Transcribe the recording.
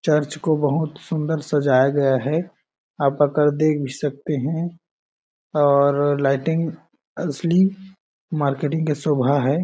Church को बहुत सुन्दर सजाया गया है आप आकर देख भी सकते है और लाइटिंग असली मार्केटिंग की शोभा हैं ।